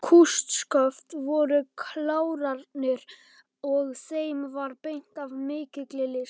Kústsköft voru klárarnir og þeim var beitt af mikilli list.